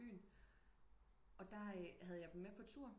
Byen og der havde jeg dem med på tur